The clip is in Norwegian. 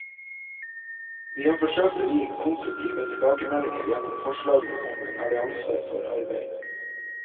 Vi har forsøkt å gi konstruktive tilbakemeldinger gjennom forslagene om en allianse for arbeid.